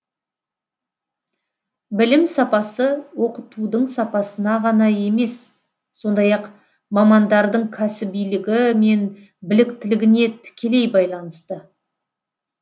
білім сапасы оқытудың сапасына ғана емес сондай ақ мамандардың кәсібилігі мен біліктілігіне тікелей байланысты